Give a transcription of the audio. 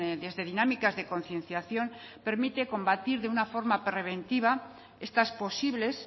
desde dinámicas de concienciación permite combatir de una forma preventiva estas posibles